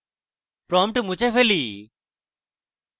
prompt মুছে ফেলি